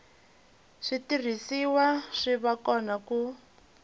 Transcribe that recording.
switirhisiwa swi va kona ku